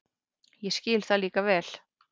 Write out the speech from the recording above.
Ég skil það líka vel.